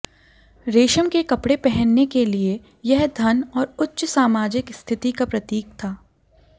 रेशम के कपड़े पहनने के लिए यह धन और उच्च सामाजिक स्थिति का प्रतीक था